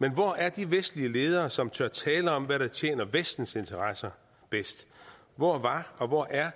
men hvor er de vestlige ledere som tør tale om hvad der tjener vestens interesser bedst hvor var og hvor er